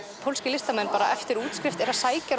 pólskir listamenn eftir útskrift eru